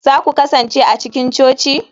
za ku kasance a cikin coci?